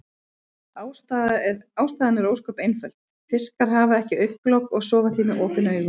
Ástæðan er ósköp einföld, fiskar hafa ekki augnlok og sofa því með opin augu.